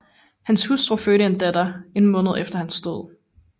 Hans hustru fødte en datter en måned efter hans død